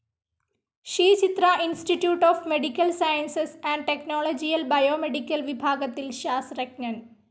Shri Chitra institute of medical sciences and ടെക്നോളജിയിൽ biomedical വിഭാഗത്തിൽ ശാസ്ത്രജ്ഞൻ.